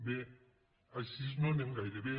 bé així no anem gaire bé